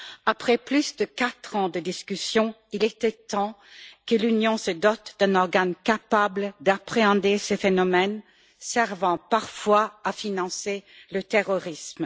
Après plus de quatre ans de discussions, il était temps que l'Union se dote d'un organe capable d'appréhender ce phénomène servant parfois à financer le terrorisme.